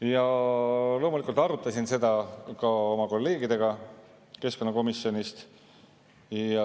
Ja loomulikult arutasin ma seda ka oma kolleegidega keskkonnakomisjonist.